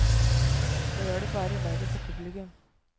Det gjør det bare verre for publikum.